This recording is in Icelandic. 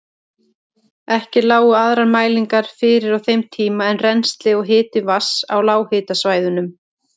Ekki lágu aðrar mælingar fyrir á þeim tíma en rennsli og hiti vatns á lághitasvæðunum.